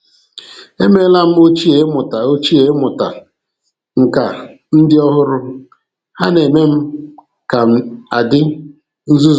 E meela m ochie ịmụta ochie ịmụta nkà ndị ọhụrụ. Ha na-eme m ka m adị nzuzu.